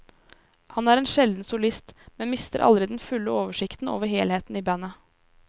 Han er en sjelden solist, men mister aldri den fulle oversikten over helheten i bandet.